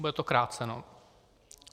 Bude to kráceno.